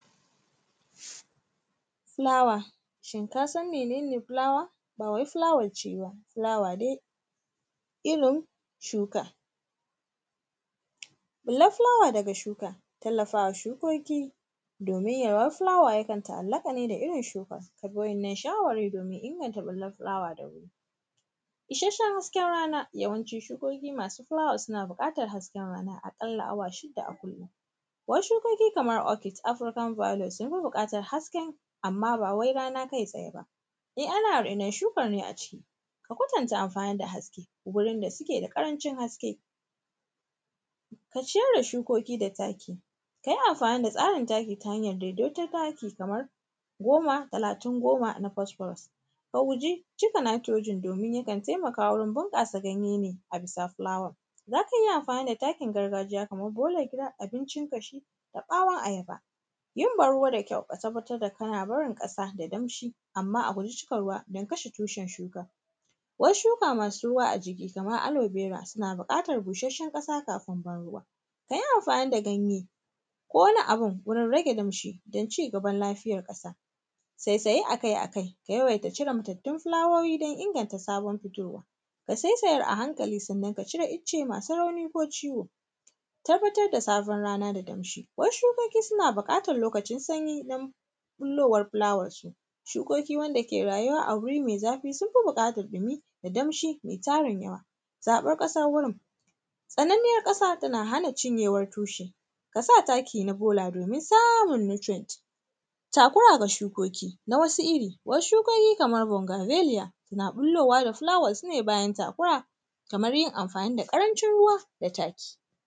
Fulawa, shin ka san mene ne fulawa? Ba wai fulawar ci ba, fulawa dai irin shuka. Ɓullar fulawa daga shuka tallafawa shukoki domin yawar fulawa yakan ta’allaƙa ne da irin shuka, ka bi waɗannan shawari domin inganta ɓullar fulawa da wuri. Isasshen hasken rana yawanci shukoki masu fulawa suna buƙatar hasken rana aƙalla awa shida a kullum. Wasu shukoki kamar offit African valious sun fi buƙarar hasken amma ba wai rana kai tsaye ba, eh ana rainon shuka ne a cikin a kwatanta amfani da haske gurin da suke da ƙarancin haske. Ka ciyar da shukoki da taki, ka yi amfani da tsarin taki ta hanyar daidaiton taki kamar goma, talatin, goma na posprose ka guji cika nitrogen domin yakan taimaka wurin buƙasa ganye ne a bisa fulawa. Za ka iya amfani da takin gargajiya kamar bolar gida abincin ƙashi da ɓawon ayaba, yin ban ruwa da kyau ka tabbatar da tabbatar da kana barin ƙasa da kyau ka tabbatar da kana barin ƙasa da daamshi amma a guji cika ruwa don kasha tushen shuka. Wasu shuka masu ruwa a jiki kamar alovera suna buƙatar bushasshen ƙasa kafin ban ruwa, ka yi amfani da ganye ko wani abun wurin rage damshi don cigaban lafiyar ƙasa, saisaye akai-akwai da yawaita cire matattun fulawoyi don inganta sabon fitowa. Ka saisayar a hankali sannan ka cire ice masu rauni ko ciwo, tabbatar da sabon rana da damshi, wasu shukoki suna buƙatar lokacin sanyi don ɓullowar fulawar su, shukoki wanda ke rayuwa a guri mai zafi sun fi buƙatar ɗumi da damshi mai tarin yawa. Zaɓar ƙasar wurin, tsananniyar ƙasa tana hana cinyewar tushe, ka sa takin a bola domin samun nutrient, takura ga shukoki na wasu iri, shukoki kamar vongavaliar, na ɓullowa da fulawar su ne bayan takura kamar yin amfani da ƙarancin ruwa da taki.